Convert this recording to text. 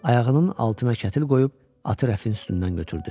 Ayağının altına kətil qoyub atı rəfin üstündən götürdü.